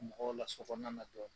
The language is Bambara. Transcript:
Mɔgɔw la sokɔnɔ na